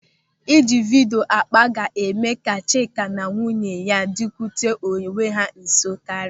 Ị ji vidio akpa ga-eme ka Chima na nwunye ya dịkute onwe ha nso karịa.